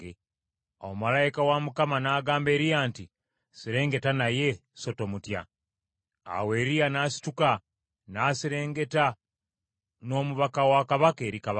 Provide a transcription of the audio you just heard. Awo malayika wa Mukama n’agamba Eriya nti, “Serengeta naye, so tomutya.” Awo Eriya n’asituka n’aserengeta n’omubaka wa kabaka eri kabaka.